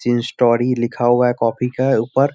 तीन स्टोरी लिखा हुआ है कॉपी के ऊपर।